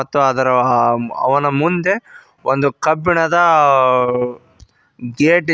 ಮತ್ತು ಅದರ ಆ ಅವನ ಮುಂದೆ ಒಂದು ಕಬ್ಬಿಣದಾ ಗೇಟ್ ಇದೆ.